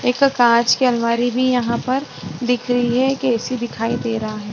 एक कांच की अलवारी भी यहां पर दिख रही है कैसी दिखाई दे रहा है।